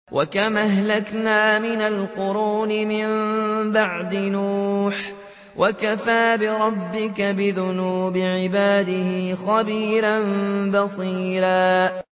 وَكَمْ أَهْلَكْنَا مِنَ الْقُرُونِ مِن بَعْدِ نُوحٍ ۗ وَكَفَىٰ بِرَبِّكَ بِذُنُوبِ عِبَادِهِ خَبِيرًا بَصِيرًا